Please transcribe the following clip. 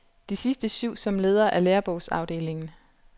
De sidste syv som leder af lærebogsafdelingen.